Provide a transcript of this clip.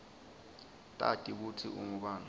tati kutsi ungubani